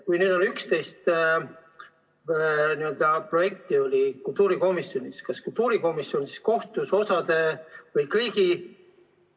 Kui oli 11 projekti kultuurikomisjonis, kas kultuurikomisjon siis kohtus osaga või kõigiga?